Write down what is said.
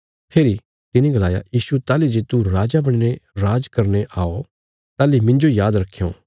फेरी तिने गलाया यीशु ताहली जे तू राजा बणीने राज करने आओ ताहली मिन्जो याद रखयों